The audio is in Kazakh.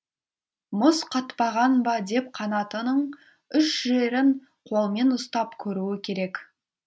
мұз қатпаған ба деп қанатының үш жерін қолмен ұстап көруі керек